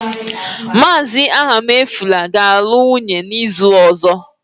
Mr. Ahamefula ga-alụ nwunye n'izu ọzọ